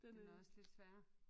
Den er også lidt sværere